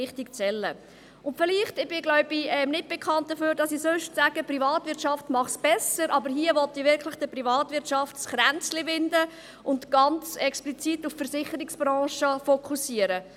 Ich glaube, ich bin nicht dafür bekannt, dass ich sonst sage, die Privatwirtschaft mache es besser, aber ich will der Privatwirtschaft wirklich ein Kränzchen winden und ganz explizit auf die Versicherungsbranche fokussieren.